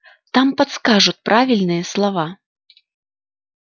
там подскажут правильные слова